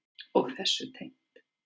Og þessu tengt.